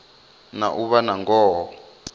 na u vha na ngoho